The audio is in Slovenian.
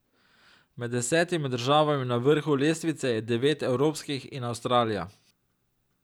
Med desetimi državami na vrhu lestvice je devet evropskih in Avstralija.